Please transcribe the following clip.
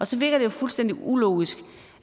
så virker det jo fuldstændig ulogisk